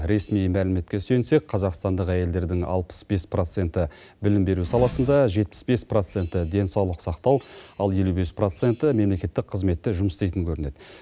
ресми мәліметке сүйенсек қазақстандық әйелдердің алпыс бес проценті білім беру саласында жетпіс бес проценті денсаулық сақтау ал елу бес проценті мемлекеттік қызметте жұмыс істейтін көрінеді